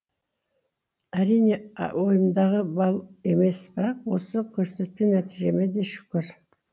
әрине ойымдағы бал емес бірақ осы көрсеткен нәтижеме де шүкір